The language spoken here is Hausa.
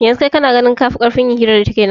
Yanzu kai kana ganin kafi karfin yin hira da ita kenan